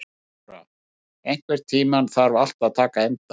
Borgþóra, einhvern tímann þarf allt að taka enda.